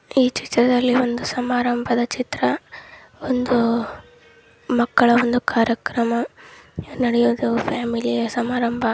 ಈ ಚಿತ್ರದಲ್ಲಿ ಒಂದು ಸಮಾರಂಭದ ಚಿತ್ರ ಒಂದು ಮಕ್ಕಳ ಒಂದು ಕಾರ್ಯಕ್ರಮ ನಡೆಯೋದು ಫ್ಯಾಮಿಲಿಯ ಸಮಾರಂಭ.